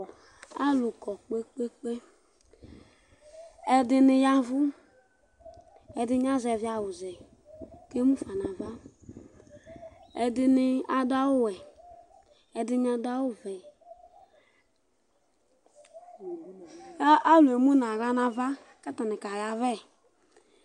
alu kɔ kpekpekpe, ɛdini yavu ɛdi ni azɛvi awu zɛ ku emu fa nu ava, ɛdini adu awu wɛ, ɛdini adu awu vɛ, ka Alu emu nu aɣla nu ava ku ata ni kayavɛ